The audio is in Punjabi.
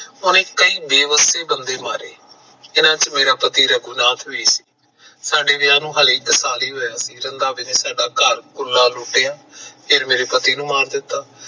ਉਹਨੇ ਕਈ ਬੇਵਸੀ ਬੰਦੇ ਮਾਰੇ ਜਿਨਾਂ ਚ ਮੇਰਾ ਪਤੀ ਰਘੂਨਾਥ ਵੀ ਸੀ ਸਾਡੇ ਵਿਆਹ ਨੂੰ ਹਜੇ ਇੱਕ ਸਾਲ ਹੀ ਹੋਇਆ ਸੀ ਰੰਧਾਵੇ ਨੇ ਸਾਡਾ ਘਰ ਲੁੱਟਿਆ ਫਿਰ ਮੇਰੇ ਪਤੀ ਨੂੰ ਮਾਰ ਦਿੱਤਾ